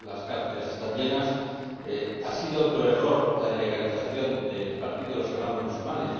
las cárceles están llenas. Ha sido otro error la ilegalización del partido de los Hermanos Musulmanes.